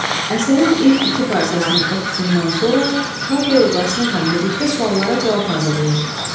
Əsərin ilk iki parçasının oxusundan sonra parta yoldaşınızla birlikdə suallara cavab hazırlayın.